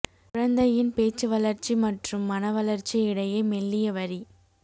குழந்தையின் பேச்சு வளர்ச்சி மற்றும் மன வளர்ச்சி இடையே மெல்லிய வரி